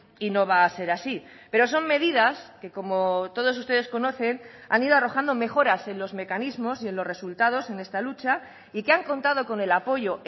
y no va a ser así pero son medidas que como todos ustedes conocen han ido arrojando mejoras en los mecanismos y en los resultados en esta lucha y que han contado con el apoyo